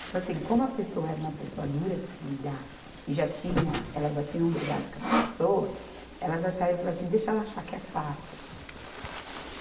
Tipo assim, como a pessoa era uma pessoa dura de se lidar e já tinha, elas já tinham brigado com essa pessoa, elas acharam e falaram assim, deixa ela achar que é fácil.